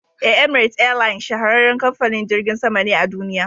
E, "Emirate airline shahararren kamfanin jirgin sama ne a duniya.